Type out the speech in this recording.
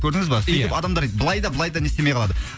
көрдіңіз ба ия сөйтіп адамдар былай да былай да не істемей қалады